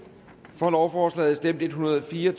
for lovforslaget stemte en hundrede og fire